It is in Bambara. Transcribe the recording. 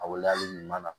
A waleyalen ɲuman na